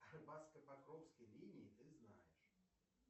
покровской линии ты знаешь